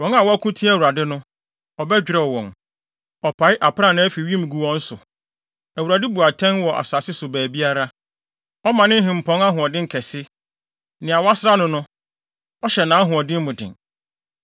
Wɔn a wɔko tia Awurade no, ɔbɛdwerɛw wɔn. Ɔpae aprannaa fi wim gu wɔn so; Awurade bu atɛn wɔ asase so baabiara. “Ɔma ne hempɔn ahoɔden kɛse; nea wasra no no, ɔhyɛ nʼahoɔden mu den.”